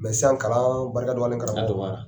Sisan kalan barika dɔgɔyalen n karamɔgɔ, a dɔgɔyara.